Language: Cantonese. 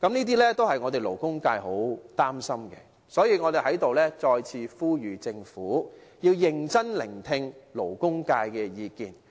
這些都是勞工界很擔心的，所以我們再次呼籲政府，要認真聆聽勞工界的意見。